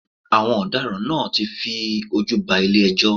Àwọn ọ̀daràn náà ti fi ojú ba ilé ẹjọ́.